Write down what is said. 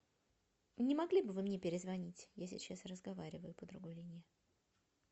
не могли бы вы мне перезвонить я сейчас разговариваю по другой линии